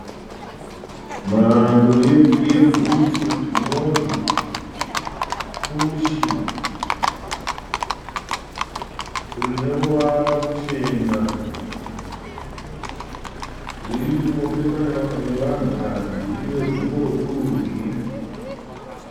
Mhando yebhutsu inonzi pushi. Rine ruvara ruchena riri rinopfekwa nevanhukadzi riri regumbo rekurudyi.